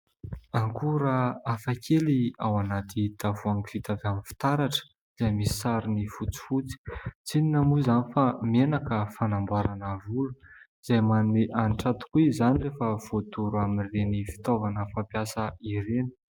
Ankora afakely ao anaty tavoangy vita avy amin'ny fitaratra izay misy sary fotsifotsy, tsy inona moa izany fa menaka fanamboarana volo, izay manome anitra tokoa izany rehefa voadoro amin'ireny fitaovana fampiasa ireny.